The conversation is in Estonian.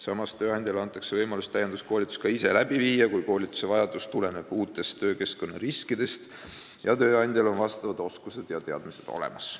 Samas antakse tööandjale võimalus täienduskoolitus ka ise läbi viia, kui koolitusvajadus tuleneb uutest töökeskkonna riskidest ja tööandjal on selleks oskused ja teadmised olemas.